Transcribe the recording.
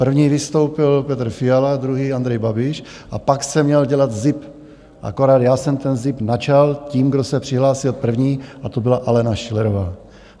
První vystoupil Petr Fiala, druhý Andrej Babiš a pak se měl dělat zip, akorát já jsem ten zip načal tím, kdo se přihlásil první, a to byla Alena Schillerová.